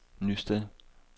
Nysted